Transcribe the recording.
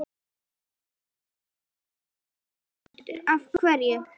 Sigurður Ingólfsson: Af hverju?